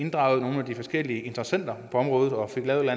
de forskellige interessenter på området og fik lavet et